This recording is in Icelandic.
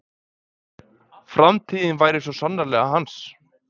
Framtíðin væri svo sannarlega hans.